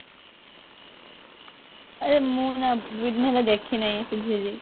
ଆରେ ମୁଁ ନା ଦୁଇଦିନ ହେଲା ଦେଖିନାଇ ସେ ଝିଲି